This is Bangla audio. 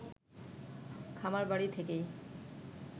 খামারবাড়ি থেকেই